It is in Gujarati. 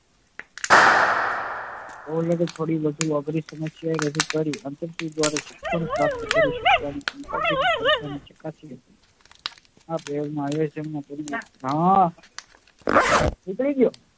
થોડી વધુ અઘરી સમસ્યા રજુ કરી અંતરસુજ દ્વારા સફળતા પ્રાપ્ત કરી શકવાની ક્ષમતા ને